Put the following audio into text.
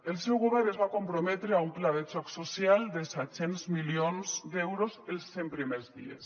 el seu govern es va comprometre a un pla de xoc social de set cents milions d’euros els cent primers dies